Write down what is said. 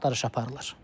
Axtarış aparılır.